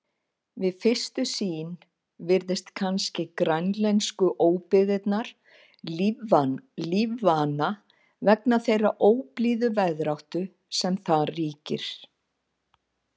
Við fyrstu sýn virðast kannski grænlensku óbyggðirnar lífvana vegna þeirrar óblíðu veðráttu sem þar ríkir.